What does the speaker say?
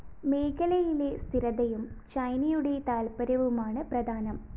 മേഖലയിലെ സ്ഥിരതയും ചൈനയുടെ താത്പര്യവുമാണ് പ്രധാനം